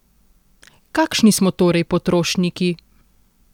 Kakšni smo torej potrošniki?